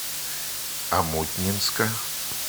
омутнинска